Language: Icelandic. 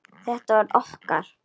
Þetta var okkar.